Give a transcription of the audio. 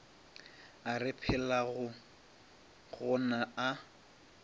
a re phelago go ona